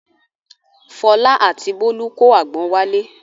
Fọlá àti Bólú kó àgbọn wálé.